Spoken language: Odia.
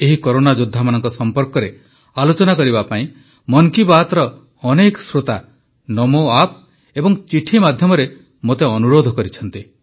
ଏହି କରୋନା ଯୋଦ୍ଧାମାନଙ୍କ ସମ୍ପର୍କରେ ଆଲୋଚନା କରିବା ପାଇଁ ମନ୍ କି ବାତ୍ ର ଅନେକ ଶ୍ରୋତା ନମୋ ଆପ୍ ଏବଂ ଚିଠି ମାଧ୍ୟମରେ ମୋତେ ଅନୁରୋଧ କରିଛନ୍ତି